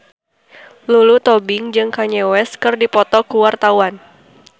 Lulu Tobing jeung Kanye West keur dipoto ku wartawan